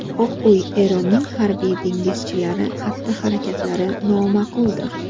Oq uy: Eronning harbiy dengizchilari xatti-harakatlari nomaqbuldir.